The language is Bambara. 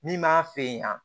Min b'a fɛ yan